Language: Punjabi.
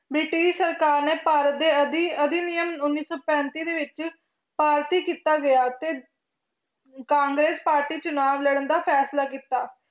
ਬ੍ਰਿਟਿਸ਼ ਸਰਕਾਰ ਨੇ ਭਾਰਤ ਦੇ ਅਧਿ~ ਅਧਿਨਿਯਮ ਉੱਨੀ ਸੌ ਪੈਂਤੀ ਦੇ ਵਿੱਚ ਪਾਰਟੀ ਕੀਤਾ ਗਿਆ ਅਤੇ ਕਾਂਗਰਸ ਪਾਰਟੀ ਚੁਣਾਵ ਲੜਨ ਦਾ ਫੈਸਲਾ ਕੀਤਾ।